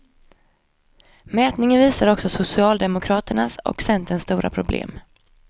Mätningen visar också socialdemokraternas och centerns stora problem.